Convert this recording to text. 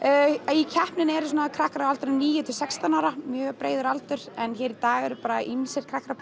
í keppninni eru svona krakkar á aldrinum níu til sextán ára mjög breiður aldur en hér í dag eru bara ýmsir krakkar að